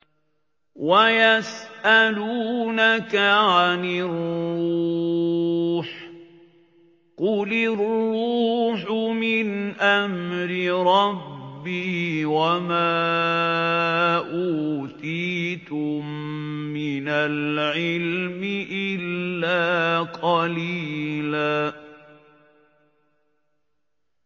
وَيَسْأَلُونَكَ عَنِ الرُّوحِ ۖ قُلِ الرُّوحُ مِنْ أَمْرِ رَبِّي وَمَا أُوتِيتُم مِّنَ الْعِلْمِ إِلَّا قَلِيلًا